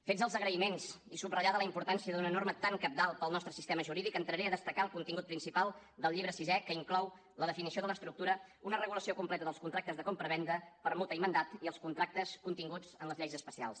fets els agraïments i subratllada la importància d’una norma tan cabdal per al nostre sistema jurídic entraré a destacar el contingut principal del llibre sisè que inclou la definició de l’estructura una regulació completa dels contractes de compravenda permuta i mandat i els contractes continguts en les lleis especials